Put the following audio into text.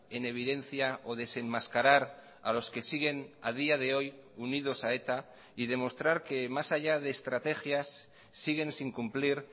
en evidencia o desenmascarar a los que siguen a día de hoy unidos a eta y demostrar que más allá de estrategias siguen sin cumplir